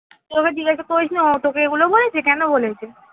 তুই ওকে জিজ্ঞাসা করিস নি, ও তোকে এগুলো বলেছে? কেন বলেছে?